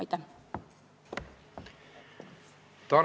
Aitäh!